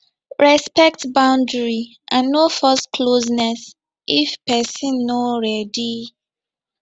respect boundary and no force closeness if person no ready